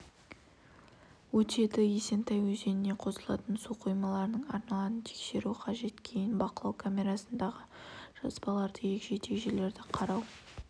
өтеді есентай өзеніне қосылатын су қоймаларының арналарын тексеру қажет кейін бақылау камерасындағы жазбаларды егжей-тегжейлі қарау